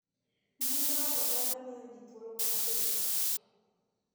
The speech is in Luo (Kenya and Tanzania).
Mbui mar oganda miyo jii thuolo mar golo pachgi.